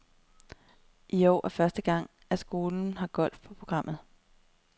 I år er det første gang, at skolen har golf på programmet.